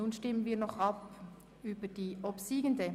Nun stimmen wir noch über deren Annahme ab.